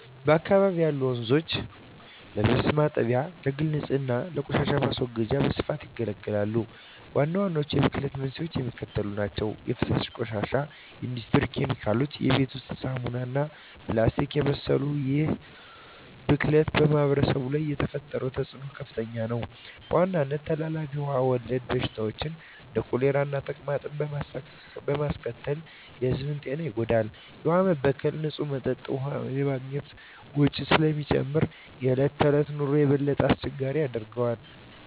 በአካባቢው ያሉ ወንዞች ለልብስ ማጠቢያ፣ ለግል ንፅህና እና ለቆሻሻ ማስወገጃ በስፋት ያገለግላሉ። ዋናዎቹ የብክለት መንስኤዎች የሚከተሉት ናቸው - 1) የፍሳሽ ቆሻሻ 2) የኢንዱስትሪ ኬሚካሎች 3) የቤት ውስጥ ሳሙናዎች እና ፕላስቲክን የመሰሉ ይህ ብክለት በማኅበረሰቡ ላይ የፈጠረው ተፅዕኖ ከፍተኛ ነው፤ በዋናነትም ተላላፊ ውሃ ወለድ በሽታዎችን (እንደ ኮሌራና ተቅማጥ) በማስከተል የሕዝቡን ጤና ይጎዳል። የውሃ መበከል ንፁህ መጠጥ ውሃ የማግኘት ወጪን ስለሚጨምር የዕለት ተዕለት ኑሮን የበለጠ አስቸጋሪ ያደርገዋል።